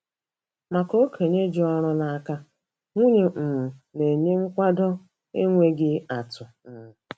Maka okenye ji ọrụ n'aka, nwunye um na-enye nkwado enweghị atụ! um